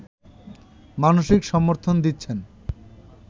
মানসিক সমর্থন দিচ্ছেন